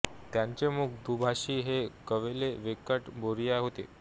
त्यांचे मुख्य दुभाषी हे कवेली वेंकट बोरिया होते